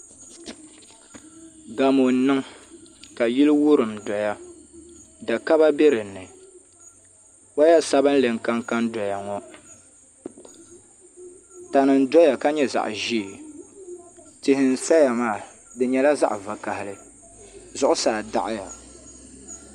Gamo n niŋ ka yili wurim doya da kaba bɛ dinni woya sabinli n kanka doya ŋɔ tani n doya ka nyɛ zaɣ ʒiɛ tihi n saya maa di nyɛla zaɣ vakaɣali zuɣusaa daɣaya